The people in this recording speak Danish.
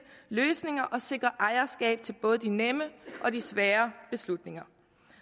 løsninger og sikrer ejerskab til både de nemme og de svære beslutninger